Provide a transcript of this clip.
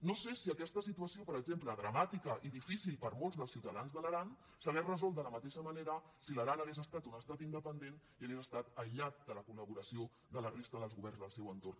no sé si aquesta situació per exemple dramàtica i difícil per a molts dels ciutadans de l’aran s’hauria resolt de la mateixa manera si l’aran hagués estat un estat independent i hagués estat aïllat de la col·laboració de la resta dels governs del seu entorn